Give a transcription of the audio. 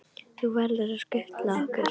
Þú verður að skutla okkur.